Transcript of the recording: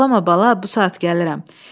Ağlama, bala, bu saat gəlirəm.